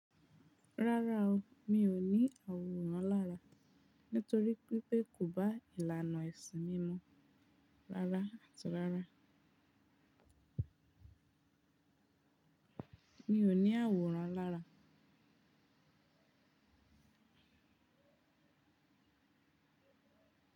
Rárá o, mi ò ní àwòrán lára nítorí wí pé kò bá ìlànà ẹ̀sìn mi mu. Rárá àti rárá, mi ò ní àwòrán lára.